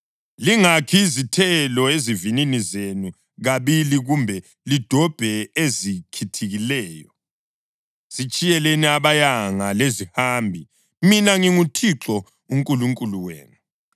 Lingakhi izithelo ezivinini zenu kabili kumbe lidobhe ezikhithikileyo. Zitshiyeleni abayanga lezihambi. Mina nginguThixo uNkulunkulu wenu.